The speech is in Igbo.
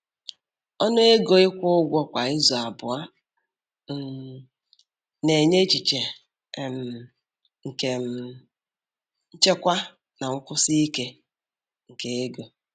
Ọnụ ego ịkwụ ụgwọ kwa izu abụọ um na-enye echiche um nke um nchekwa na nkwụsi ike nke ego.